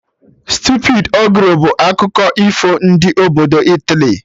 Stupidi ogre' bụ akụkọ ifo ndị obodo Italy